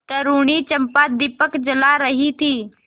तरूणी चंपा दीपक जला रही थी